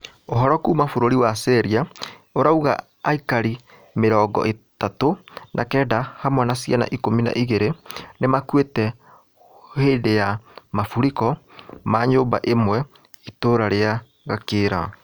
Ũhoro kuuma bũrũri wa Syria irauga aikari mĩrongo ĩatũ na kenda hamwe na ciana ikũmi na igĩrĩ nĩmakuĩte hũndũ ya mũrifũko wa nyũmba ĩmwe itũra rĩa Gakĩra